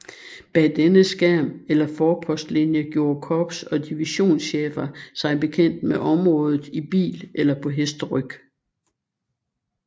Bag denne skærm eller forpostlinje gjorde korps og divisionschefer sig bekendt med området i bil eller på hesteryg